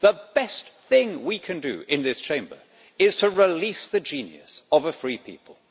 The best thing we can do in this Chamber is to release the genius of a free people.